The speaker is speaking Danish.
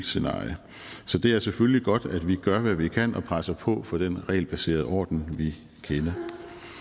scenarie så det er selvfølgelig godt at vi gør hvad vi kan og presser på for den regelbaserede orden vi kender